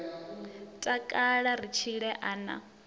takala ri tshile a na